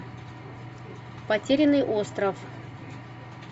потерянный остров